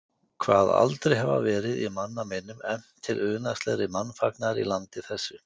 Kvað aldrei hafa verið, í manna minnum, efnt til unaðslegri mannfagnaðar í landi þessu.